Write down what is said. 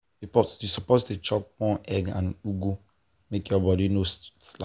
you suppose dey chop more egg and ugu make your body no slack.